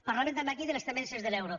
parlaven també aquí de les temences de l’euro